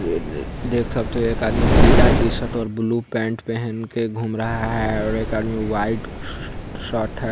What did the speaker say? अ देख सकते है एक आदमी पीले टीशर्ट और ब्लेक पेन्ट पहन कर घूम रहा है एक आदमी वाइट शर्ट है।